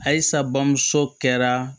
Ayisa bamuso kɛra